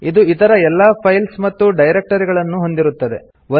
ಇದು ಇತರ ಎಲ್ಲಾ ಫೈಲ್ಸ್ ಮತ್ತು ಡೈರಕ್ಟರಿಗಳನ್ನು ಹೊಂದಿರುತ್ತದೆ